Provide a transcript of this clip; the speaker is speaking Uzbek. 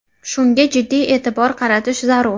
Shunga jiddiy e’tibor qaratish zarur.